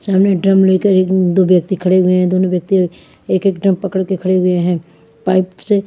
सामने ड्रम लेकर एक दो व्यक्ति खड़े हुए है दोनों व्यक्ति एक एक ड्रम पकड़ के खड़े हुए है पाइप से --